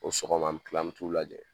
O sɔgɔma an mi kila an mi t'u lajɛ